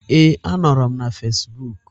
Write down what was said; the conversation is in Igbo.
Ee, a nọrọ m na Fasbụk.